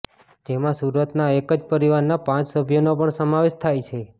જેમાં સુરતના એક જ પરિવારના પાંચ સભ્યોનો પણ સમાવેશ થાય છે